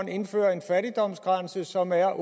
indfører en fattigdomsgrænse som er